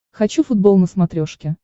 хочу футбол на смотрешке